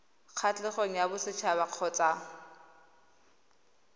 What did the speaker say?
kgatlhegong ya boset haba kgotsa